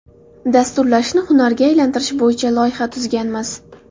Dasturlashni hunarga aylantirish bo‘yicha loyiha tuzganmiz.